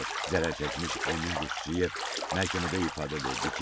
Zərər çəkmiş Emin Quşçiyev məhkəmədə ifadə verdi ki,